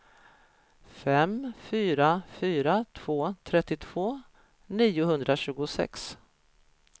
fem fyra fyra två trettiotvå niohundratjugosex